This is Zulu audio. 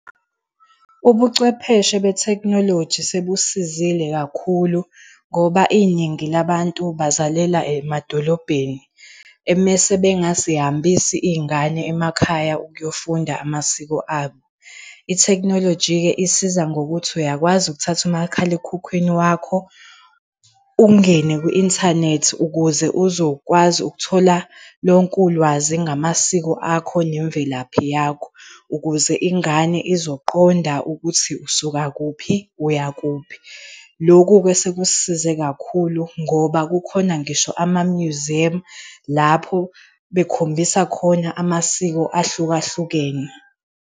Ubuchwepheshe be-technology sebusizile kakhulu, ngoba iningi labantu bazalela emadolobheni emese bengazihambisi iy'ngane emakhaya ukuyofunda amasiko abo. I-technology ke isiza ngokuthi uyakwazi ukuthatha umakhalekhukhwini wakho, ungene kwi-inthanethi ukuze uzokwazi ukuthola lonke ulwazi ngamasiko akho nemvelaphi yakho, ukuze ingane izoqonda ukuthi usuka kuphi uya kuphi. Lokhu-ke sekusisize kakhulu ngoba kukhona ngisho amamyuziyemu lapho bekhombisa khona amasiko ahluka hlukene.